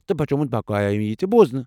تہٕ بچومٗت بقایا یی بوزنہٕ ۔